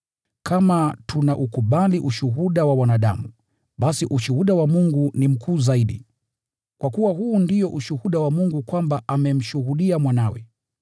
Kama tunaukubali ushuhuda wa wanadamu, basi ushuhuda wa Mungu ni mkuu zaidi, kwa kuwa huu ndio ushuhuda wa Mungu kwamba amemshuhudia Mwanawe.